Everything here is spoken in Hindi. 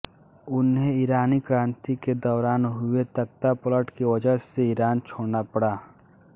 उन्हें ईरानी क्रांति के दौरान हुए तख़्तापलट की वजह से ईरान छोड़ना पड़ा